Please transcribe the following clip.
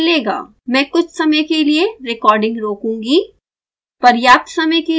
मैं कुछ समय के लिए रेकॉर्डिंग रोकूंगी